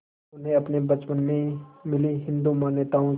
उन्हें अपने बचपन में मिली हिंदू मान्यताओं की